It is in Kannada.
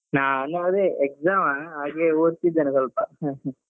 ನಾನು ಅದೇ exam ಹಾಗೆ ಓದ್ತಿದ್ದೇನೆ ಸ್ವಲ್ಪ .